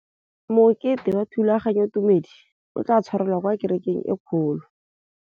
Mokete wa thulaganyôtumêdi o tla tshwarelwa kwa kerekeng e kgolo.